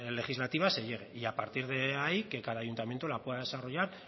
legislativa se llegue y a partir de ahí que cada ayuntamiento la pueda desarrollar